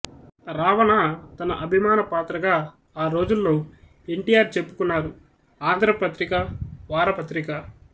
రావణ తన అభిమాన పాత్రగా ఆ రోజుల్లో ఎన్ టి ఆర్ చెప్పుకున్నారు ఆంధ్ర పత్రిక వారపత్రిక